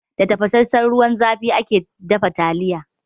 Da tafasassan ruwan zafi ake dafa taliya.